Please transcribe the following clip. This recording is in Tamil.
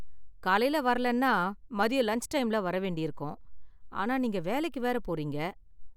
காலைல வரலன்னா மதியம் லன்ச் டைம்ல வர வேண்டியிருக்கும். ஆனா நீங்க வேலைக்கு வேற போறீங்க.